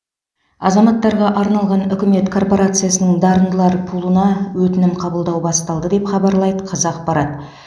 азаматтарға арналған үкімет корпорациясының дарындылар пулына өтінім қабылдау басталды деп хабарлайды қазақпарат